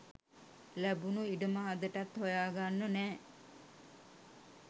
ලැබුණු ඉඩම අදටත් හොයාගන්න නෑ.